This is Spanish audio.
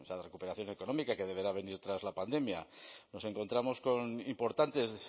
recuperación económica que deberá venir tras la pandemia nos encontramos con importantes